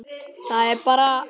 Það er bara.